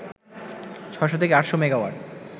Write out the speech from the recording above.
৬০০ থেকে ৮০০ মেগাওয়াট